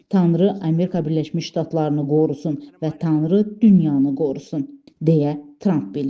Tanrı Amerika Birləşmiş Ştatlarını qorusun və Tanrı dünyanı qorusun, deyə Trump bildirib.